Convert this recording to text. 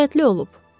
Nəzakətli olub.